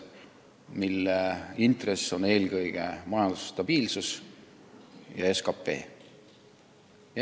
Saadav intress on eelkõige majanduse stabiilsus ja suurem SKT.